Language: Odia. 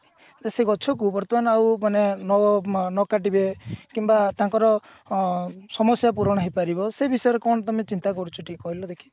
ତ ସେ ଗଛକୁ ବର୍ତମାନ ଆଉ ମାନେ ନ ଉଁ ନ କାଟିବେ କିମ୍ବା ତାଙ୍କର ଅ ସମସ୍ଯା ପୂରଣ ହେଇପାରିବ ସେ ବିଷୟରେ କଣ ତମେ ଚିନ୍ତା କରୁଛ ଟିକେ କହିଲ ଦେଖି